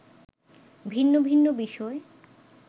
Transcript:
ভিন্ন ভিন্ন বিষয়